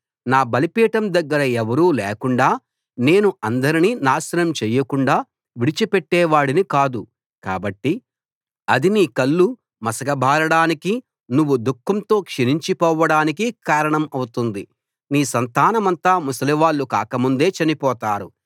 నా బలిపీఠం దగ్గర ఎవరూ లేకుండా నేను అందరినీ నాశనం చేయకుండా విడిచిపెట్టేవాడిని కాదు కాబట్టి అది నీ కళ్ళు మసకబారడానికి నువ్వు దుఃఖంతో క్షీణించిపోడానికి కారణమౌతుంది నీ సంతానమంతా ముసలివాళ్ళు కాకముందే చనిపోతారు